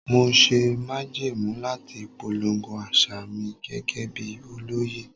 Mo ṣe májẹ̀mú láti polongo àṣà mi gẹ́gẹ́ bí olóyè.